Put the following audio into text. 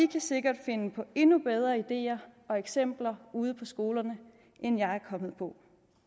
kan sikkert finde på endnu bedre ideer og eksempler ude på skolerne end jeg er kommet på